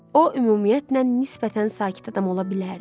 O ümumiyyətlə nisbətən sakit adam ola bilərdi.